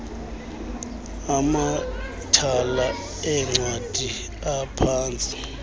amathala eencwadi aphantsi